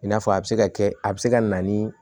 I n'a fɔ a bɛ se ka kɛ a bɛ se ka na ni